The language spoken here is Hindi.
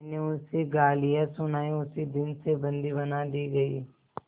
मैंने उसे गालियाँ सुनाई उसी दिन से बंदी बना दी गई